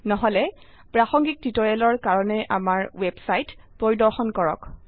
নহলে প্ৰাসঙ্গিক টিউটোৰিয়েলৰ কাৰনে আমাৰ ওয়েবসাইট পৰিদৰ্শন কৰক